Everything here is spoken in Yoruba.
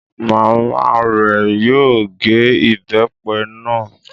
Màmá rẹ̀ yóò gé ìbépe náà